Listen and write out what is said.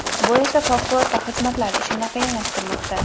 Bu esa favqulodda xizmatlar ishini qiyinlashtirmoqda.